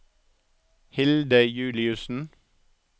Hilde Juliussen